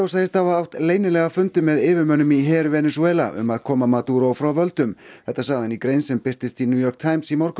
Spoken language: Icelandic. segist hafa átt leynilega fundi með yfirmönnum í her Venesúela um að koma frá völdum þetta sagði hann í grein sem birtist í New York Times í morgun